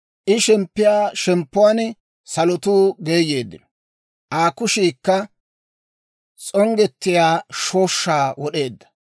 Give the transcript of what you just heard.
I shemppiyaa shemppuwaan salotuu geeyeeddino; Aa kushiikka s'onggettiyaa shooshshaa wod'eedda.